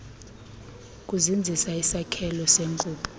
kuzinzisa isakhelo senkubo